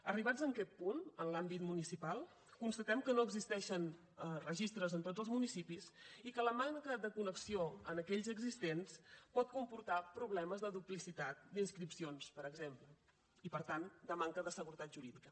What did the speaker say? arribats a aquest punt en l’àmbit municipal constatem que no existeixen registres en tots els municipis i que la manca de connexió en aquells existents pot comportar problemes de duplicitat d’inscripcions per exemple i per tant de manca de seguretat jurídica